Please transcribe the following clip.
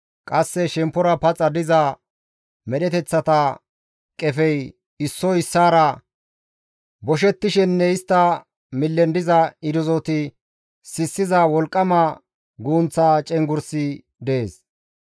Qasse shemppora paxa diza medheteththata qefey issoy issaara boshettishenne istta millen diza irzoti sissiza wolqqama guugunththa cenggurssi dees.